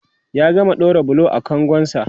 ya gama ɗaura bulo a kangon sa